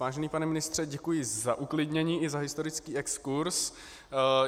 Vážený pane ministře, děkuji za uklidnění i za historický exkurz.